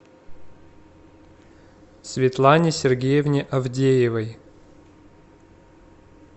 светлане сергеевне авдеевой